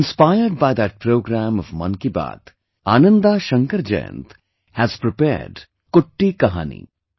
Inspired by that program of 'Mann Ki Baat', Ananda Shankar Jayant has prepared 'Kutti Kahani'